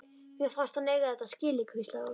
Mér fannst hann eiga þetta skilið- hvíslaði hún.